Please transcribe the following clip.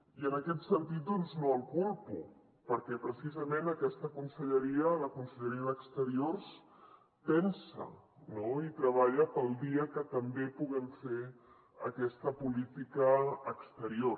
i en aquest sentit doncs no el culpo perquè precisament aquesta conselleria la conselleria d’exteriors pensa i treballa pel dia que també puguem fer aquesta política exterior